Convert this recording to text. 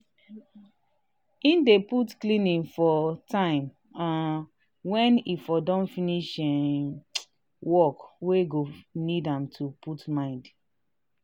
he dey put cleaning for time um wen he for don finish um work wey go need am to put mind.